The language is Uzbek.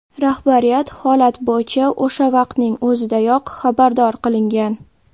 Rahbariyat holat bo‘yicha o‘sha vaqtning o‘zidayoq xabardor qilingan.